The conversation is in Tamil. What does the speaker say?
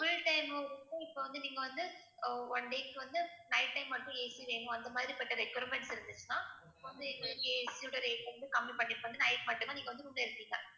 full time க்கும் இப்ப வந்து நீங்க வந்து ஆஹ் one day க்கு வந்து night time மட்டும் AC வேணும் அந்த மாதிரிப்பட்ட requirements இருந்துச்சுன்னா night மட்டும் தான் நீங்க வந்து room ல இருப்பீங்க